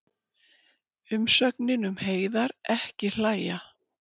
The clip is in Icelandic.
Umsögnin um Heiðar: Ekki hlæja.